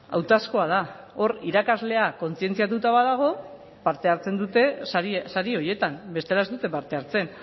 hautazkoa da hor irakaslea kontzientziatuta badago parte hartzen dute sari horietan bestela ez dute parte hartzen